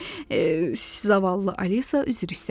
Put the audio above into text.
Zavallı Alisa üzr istədi.